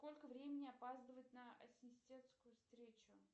сколько времени опаздывать на ассистентскую встречу